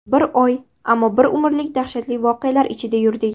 Bir oy ammo bir umrlik daxshatli voqealar ichida yurdik.